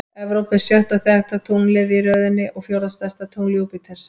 Evrópa er sjötta þekkta tunglið í röðinni og fjórða stærsta tungl Júpíters.